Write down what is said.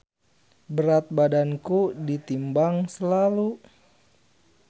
Berat badanku ditimbang slalu.